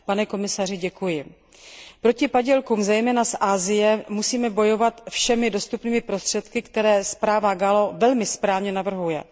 Pane komisaři, děkuji. Proti padělkům, zejména z Asie, musíme bojovat všemi dostupnými prostředky, které zpráva poslankyně Gallové velmi správně navrhuje.